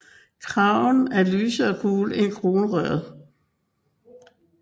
Kraven er lysere gul end kronrøret